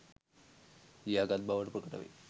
ලියා ගත් බවට ප්‍රකට වේ.